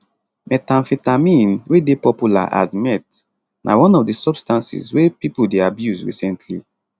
methamphetamine wey dey popular as meth na one of di substances wey pipo dey abuse recently